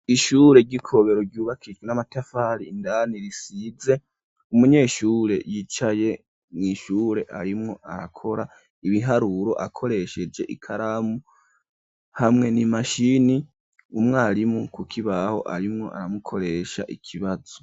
Ishure ry'i Kobero ryubakishijwe n'amatafari indani risize. Umunyeshure yicaye mw'ishure arimwo arakora ibiharuro akoresheje ikaramu hamwe n'imashini, umwarimu ku kibaho arimwo aramukoresha ikibazo.